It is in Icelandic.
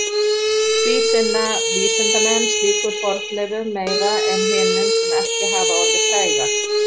Því sinna vísindamenn slíkum fornleifum meira en hinum sem ekki hafa orðið frægar.